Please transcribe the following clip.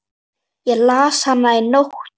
Ég las hana í nótt.